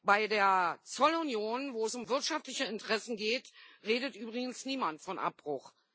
Bei der Zollunion, wo es um wirtschaftliche Interessen geht, redet übrigens niemand von Abbruch.